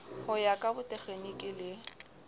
ho ya ka botekgeniki le